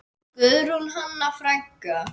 Guðrún Hanna frænka.